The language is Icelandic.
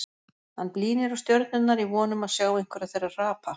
Hann blínir á stjörnurnar í von um að sjá einhverja þeirra hrapa.